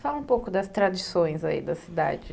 Fala um pouco das tradições aí da cidade.